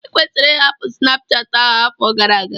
Ikwesịrị ịhapụ Snapuchati ahụ afọ gara aga!